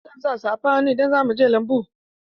Zan sa safan hannu idan zan je lambu.